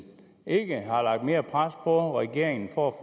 ikke har lagt mere pres på regeringen for at